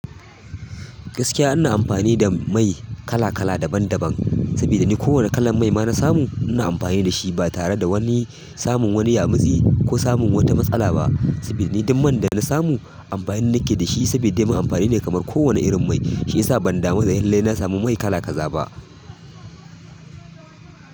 Gaskiya ina amfani da mai kala kala daban daban, saboda ni kowane kalan mai ma na samu ina amfani da shi ba tare da wani samun wani yamutsi ko samun wata matsala ba. Saboda ni dukkan man da na samu amfani nake da shi sabuda dai man amfani ne kamar kowane irin mai. Shiyasa ban damu da lalle na samu mai kala kaza ba.